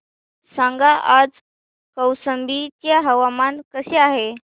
सांगा आज कौशंबी चे हवामान कसे आहे